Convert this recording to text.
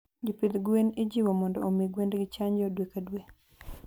Jopidh gwen ijiwo mondo omii gwengi chanjo dwe ka dwe